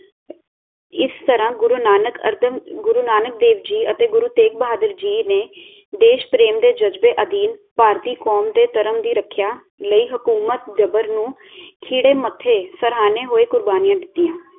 ਇਸ ਤਰਾਹ ਗੁਰੂ ਨਾਨਕ ਗੁਰੂ ਨਾਨਕ ਦੇਵ ਜੀ ਅਤੇ ਗੁਰੂ ਤੇਗ ਬਹਾਦਰ ਜੀ ਨੇ ਦੇਸ਼ ਪ੍ਰੇਮ ਦੇ ਜਜਬੇ ਅਧੀਨ ਭਾਰਤੀ ਕੌਮ ਦੇ ਧਰਮ ਦੀ ਰਖਿਆ ਲਈ ਹੁਕੂਮਤ ਨੂੰ ਖਿੜੇ ਮੱਥੇ ਸਰਹਾਣੇ ਹੋਏ ਕੁਰਬਾਨੀਆਂ ਦਿਤੀਆਂ